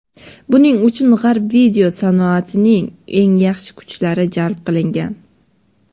Buning uchun G‘arb video sanoatining eng yaxshi kuchlari jalb qilingan.